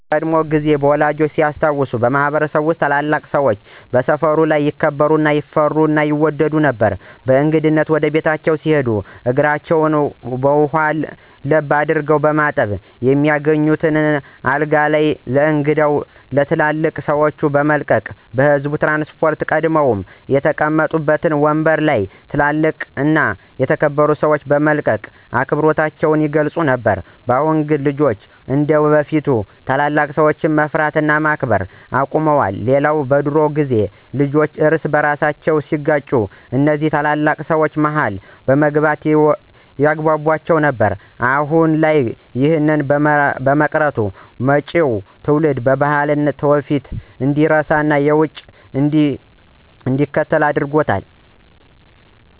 በቀድሞ ጊዜ ወላጆቻችን ሲያስታውሱ በማህበረሰብ ውስጥ ታላላቅ ሰወች በሰፈር ልጆች ይከበሩ፣ ይፈሩ እና ይወደዱ ነበር። በእንግድነት ወደ ቤታቸው ሲሄዱ እግራቸውን ውሃ ለብ አድርጎ በማጠብ፣ የሚተኙበትን አልጋ ለእንግዳው እና ለትልልቅ ሰወች በመልቀቅ፤ በህዝብ ትራንስፖርት ቀድመው የተቀመጡበትን ወምበር ለ ትልልቅ እና የተከበሩ ሰወች በመልቀቅ አክብሮታቸውን ይገልፁ ነበር። በአሁን ግን ልጆች እንደበፊት ታላላቅ ሰወችን መፍራት እና ማክበር አቁመዋል። ሌላው በድሮ ጊዜ ልጆች እርስ በርሳቸው ሲጋጩ እነዚ ታላላቅ ሰወች መሀል በመግባት ያግቧቧቸው ነበር። አሁን ላይ ይህ በመቅረቱ መጪው ትውልድ ባህሉን፣ ትውፊቱን እንዲረሳና የውጩን እንዲከተል ያደርገዋል።